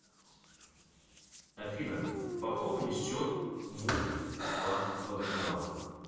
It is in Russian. афина пополни счет муп уфа водоканал